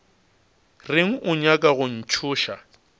reng o nyaka go ntšhoša